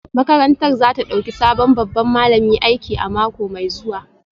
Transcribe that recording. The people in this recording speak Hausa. Makarantar za ta dauki sabon babban malami aiki a mako mai zuwa